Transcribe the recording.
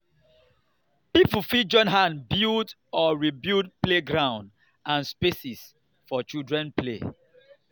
pipo fit join hands build or rebuild playground and spaces for children play